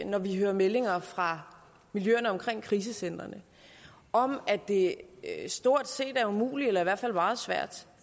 når vi hører meldinger fra miljøerne omkring krisecentrene om at det stort set er umuligt eller i hvert fald meget svært